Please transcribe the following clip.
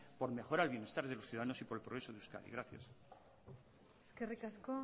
por mejorar el bienestar de los ciudadanos y por el progreso en euskadi gracias eskerrik asko